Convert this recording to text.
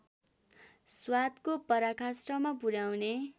स्वादको पराकाष्ठमा पुर्‍याउने